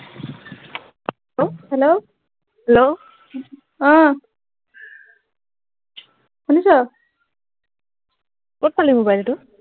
hello hell hello অ শুনিছ কত পালি mobile টো